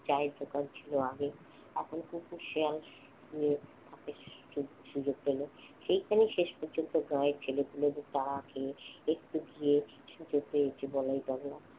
চায়ের দোকান ছিল আগে এখন কুকুর শেয়াল শুয়ে থাকে সুযোগ পেলে সেইখানে শেষ পর্যন্ত গায়ের ছেলেপেলেদের তারা খেয়ে একটু গিয়ে শুতে পেরেছে বলাই পাগলা।